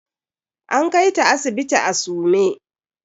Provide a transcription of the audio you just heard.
An kaita sibiti a sume.